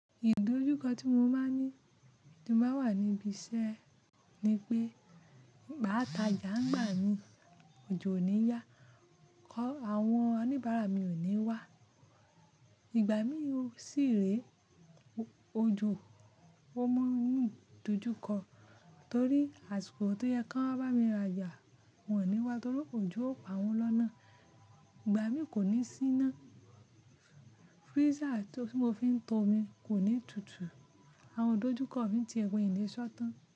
Ìdójúkọ tí mo máa ń ní tí mo bá wà ní ibi iṣẹ́ ni pé ma ta ja ń gbà mí, òjò ò ní yá. Kọ́ àwọn oníbàárà mi ò ní wá. Ìgbà mí sì rè ojò ó mọ́ mu idojúkọ torí àsìkò tó yẹ kó bá mi ra ja wọ́n ò ní wá torí òjò ó pa wọn lọ́nà. Ìgbà mi kò ní síná. Freezer tí mo fi ń to omi kò ní tutù. Àwọn idojúkọ mi ti e po milé ṣọ́tàn.